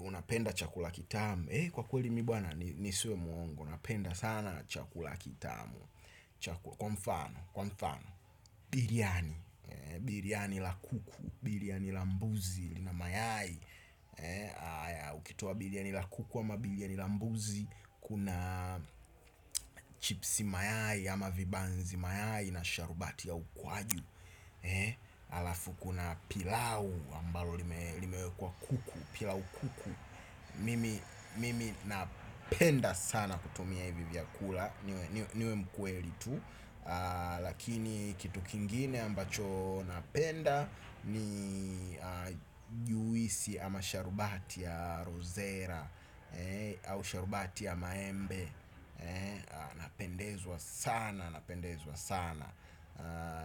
Unapenda chakula kitamu. Kwa kweli mi bwana nisiwe mwongo napenda sana chakula kitamu. Kwa mfano Biryani Biryani la kuku biryani la mbuzi na mayai. Ukitoa biryani la kuku ama biryani la mbuzi. Kuna chipsi mayai ama vibanzi mayai na sharubati ya ukwaju. Alafu kuna pilau ambalo limewekwa kuku. Pilau kuku mimi mimi napenda sana kutumia hivi vyakula. Niwe mkweli tu. Lakini kitu kingine ambacho napenda. Ni juisi ama sharubati ya rozera au sharubati ya maembe. Napendezwa sana, napendezwa sana.